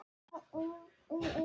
Síðan leit hann á hópinn.